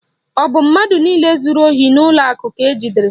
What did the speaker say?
Ọ bụ mmadụ niile zuru ohi n'ụlọ akụ ka ejidere?